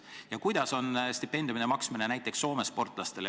Ja kuidas on korraldatud stipendiumide maksmine näiteks Soome sportlastele?